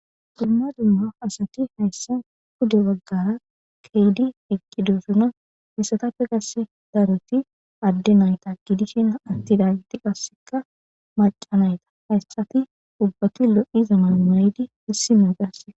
Dumma asati haysan pude bagara eqidosona hesatappe qase daroti ade nayta gidishn atidayti qase maca nayta hayti ubbati lo'iza mayo mayid issinaya qase